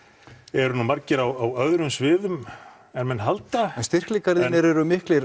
eru nú margir á öðrum sviðum en menn halda en styrkleikar þínir eru miklir